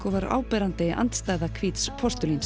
og var áberandi andstæða hvíts